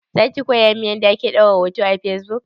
Zaki koya min yanda ake ɗora hoto a fesbuk?